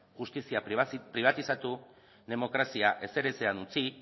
justizia pribatizatu demokrazia ezer ezean utzi